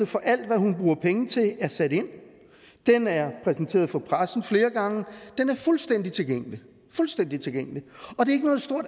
for alt hvad hun bruger penge til er sat ind den er præsenteret for pressen flere gange og den er fuldstændig tilgængelig fuldstændig tilgængelig og det